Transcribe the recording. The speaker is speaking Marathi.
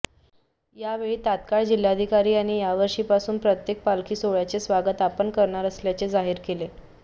यावेळी तात्काळ जिल्हाधिकारी यांनी यावर्षीपासून प्रत्येक पालखी सोहळयांचे स्वागत आपण करणार असल्यांचे जाहीर केले